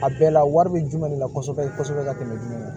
A bɛɛ la wari bɛ jumɛn de la kɔsɔbɛ kɔsɔbɛ ka tɛmɛ jumɛn kan